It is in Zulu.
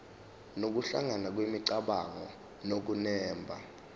nokuhlangana kwemicabango nokunemba